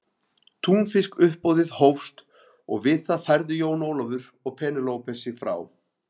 Túnfiskuppboðið hófst og við það færðu Jón Ólafur og Penélope sig frá.